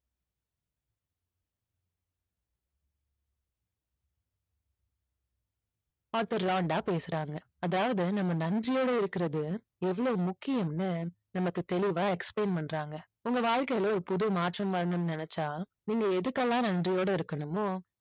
author Rhonda பேசுறாங்க. அதாவது நம்ம நன்றியோடு இருக்கிறது எவ்வளவு முக்கியம்னு நமக்கு தெளிவா explain பண்றாங்க உங்க வாழ்க்கையில ஒரு புது மாற்றம் வரணும்னு நினைச்சா நீங்க எதுக்கு எல்லாம் நன்றியோடு இருக்கணுமோ